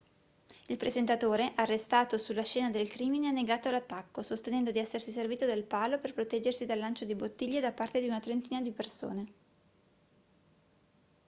il presentatore arrestato sulla scena del crimine ha negato l'attacco sostenendo di essersi servito del palo per proteggersi dal lancio di bottiglie da parte di una trentina di persone